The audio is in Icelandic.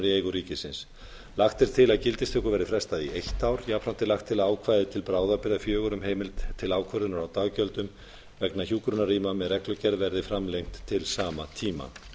í eigu ríkisins lagt er til að gildistöku verði frestað í eitt ár jafnframt er lagt til að ákvæði til bráðabirgða fjögur um heimild til ákvörðunar á daggjöldum vegna hjúkrunarrýma með reglugerð verði framlengd til sama tíma